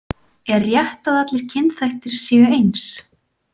Er rétt að allir kynþættir séu eins?